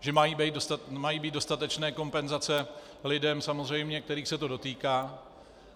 Že mají být dostatečné kompenzace lidem samozřejmě, kterých se to dotýká.